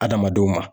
Adamadenw ma